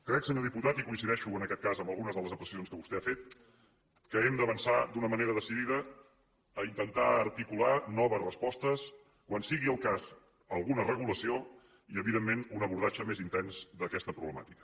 crec senyor diputat i coincideixo en aquest cas amb algunes de les apreciacions que vostè ha fet que hem d’avançar d’una manera decidida a intentar articular noves respostes quan sigui el cas alguna regulació i evidentment un abordatge més intens d’aquesta problemàtica